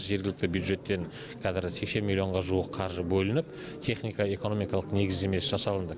жергілікті бюджеттен қазір сексен миллионға жуық қаржы бөлініп техника экономикалық негіздемесі жасалынды